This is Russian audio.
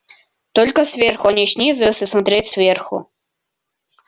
только сверху а не снизу если смотреть сверху